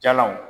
Jalanw